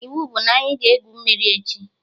Iwu bụ na anyị ga-egwu mmiri echi!